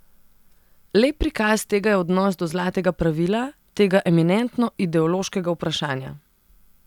Lep prikaz tega je odnos do zlatega pravila, tega eminentno ideološkega vprašanja.